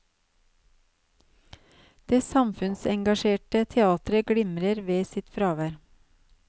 Det samfunnsengasjerte teatret glimrer ved sitt fravær.